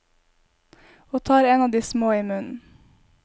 Og tar en av de små i munnen.